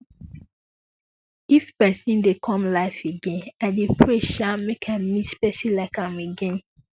if pesin dey come life again i um dey pray say make i meet pesin like am again